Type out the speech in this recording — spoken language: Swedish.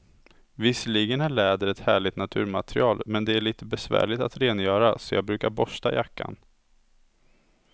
Visserligen är läder ett härligt naturmaterial, men det är lite besvärligt att rengöra, så jag brukar borsta jackan.